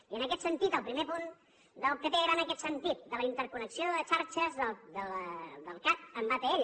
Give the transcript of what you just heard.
i en aquest sentit el primer punt del pp era en aquest sentit de la interconnexió de les xarxes del cat amb atll